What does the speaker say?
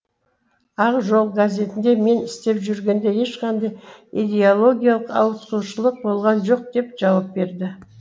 ақ жол газетінде мен істеп жүргенде ешқандай идеологиялық ауытқушылық болған жоқ деп жауап берді